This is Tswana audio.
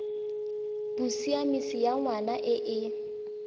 bosiamisi ya ngwana e e